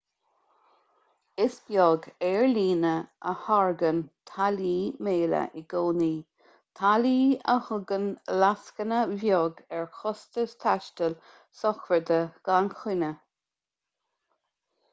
is beag aerlíne a thairgeann táillí méala i gcónaí táillí a thugann lascaine bheag ar chostais taistil sochraide gan choinne